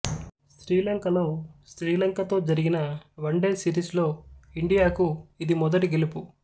శ్రీలంకలో శ్రీలంకతో జరిగిన వన్ డే సీరీస్ లో ఇండియాకు ఇది మొదటి గెలుపు